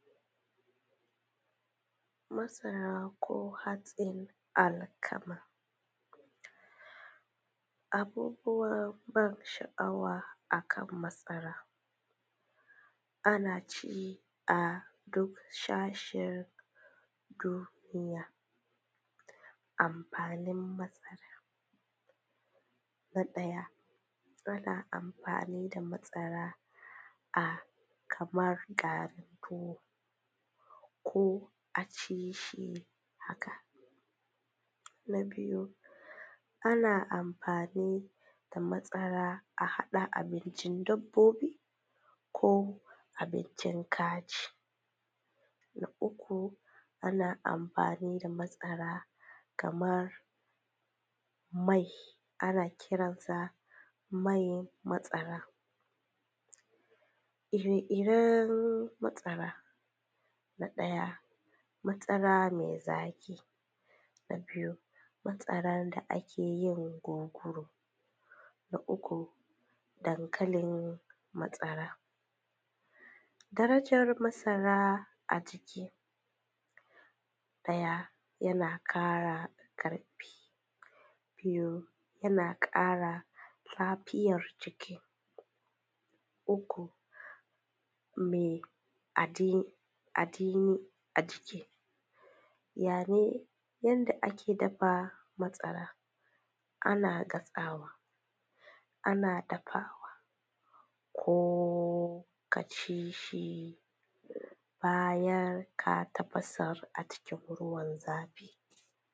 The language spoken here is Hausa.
Masara ko hatsin alkama, abubuwan ban sha’awa akan masara ana ci a ƙasashen duniya. Amfanin masara na ɗaya muna amfani da masara a kamar garin tuwo ko a ci shi haka, na biyu ana amfani da masara a haɗa abincin dabbobi ko abincin kaji, na uku ana amfani da masara kamar mai, ana kiransa man masara. Ire-iren masara, na ɗaya masara mai zaƙi na biyu masaran da ake yin kunu, na uku dankalin masara. Darajar masara a jiki, na ɗaya yana ƙara ƙarfi, biyu yana ƙara lafiyar jiki, uku me adini a jiki ya ne. Yanda ake dafa masara, ana dafawa, ana gasawa ko kaci shi bayan ka tafasa a cikin ruwan zafi.